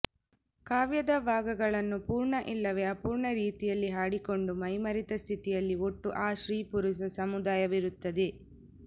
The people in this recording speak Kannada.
ಕಾವ್ಯದ ಭಾಗಗಳನ್ನು ಪೂರ್ಣ ಇಲ್ಲವೆ ಅಪೂರ್ಣ ರೀತಿಯಲ್ಲಿ ಹಾಡಿಕೊಂಡು ಮೈಮರೆತ ಸ್ಥಿತಿಯಲ್ಲಿ ಒಟ್ಟು ಆ ಸ್ತ್ರೀ ಪುರುಷ ಸಮುದಾಯವಿರುತ್ತದೆ